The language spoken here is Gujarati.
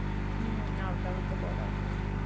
હાં, આવતા વર્ષે બોર્ડ આવશે.